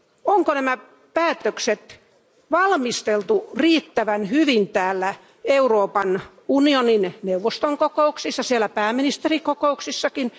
Onko nämä päätökset valmisteltu riittävän hyvin täällä Euroopan unionin neuvoston kokouksissa, siellä pääministerikokouksissakin?